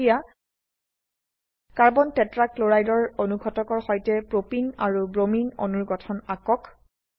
এতিয়া carbon tetrachloride ৰ অনুঘটকৰ সৈতে প্ৰোপিন আৰু ব্ৰোমিন অণুৰ গঠন আঁকক